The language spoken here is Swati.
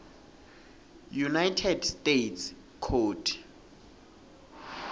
united states code